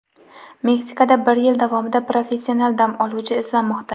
Meksikada bir yil davomida professional dam oluvchi izlanmoqda.